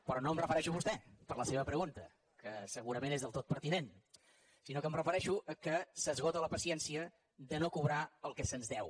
però no em refereixo a vostè per la seva pregunta que segurament és del tot pertinent sinó que em refereixo que s’esgota la paciència de no cobrar el que se’ns deu